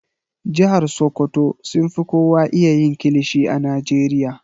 Jihar sokoto sun fi kowa iya yin kilishi a Najeriya.